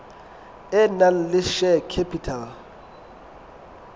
e nang le share capital